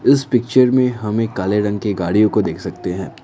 इस पिक्चर में हमें काले रंग की गाड़ियों को देख सकते हैं।